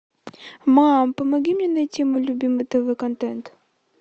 мам помоги мне найти мой любимый тв контент